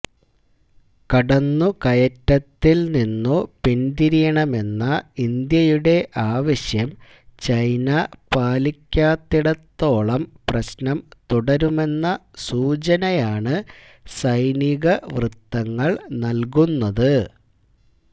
കടന്നുകയറ്റത്തിൽനിന്നു പിന്തിരിയണമെന്ന ഇന്ത്യയുടെ ആവശ്യം ചൈന പാലിക്കാത്തിടത്തോളം പ്രശ്നം തുടരുമെന്ന സൂചനയാണ് സൈനികവൃത്തങ്ങൾ നൽകുന്നത്